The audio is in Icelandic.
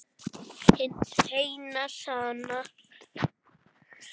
Hin eina sanna